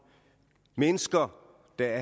mennesker der